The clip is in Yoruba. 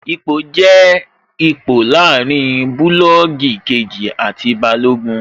Ipò jẹ́ ipò láàrin bulọọgi kejì àti Balógun